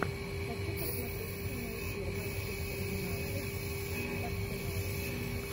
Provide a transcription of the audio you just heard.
хочу посмотреть прямой эфир манчестер юнайтед с арсеналом